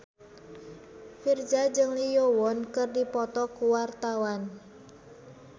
Virzha jeung Lee Yo Won keur dipoto ku wartawan